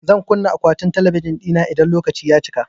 Zan kunna akwatin talabijin ɗin idan lokaci ya cika